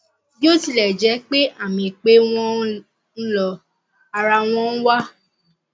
bí ó tilẹ jẹ pé àmì pé wọn ń lọ ara wọn wà